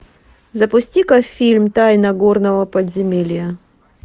запусти ка фильм тайна горного подземелья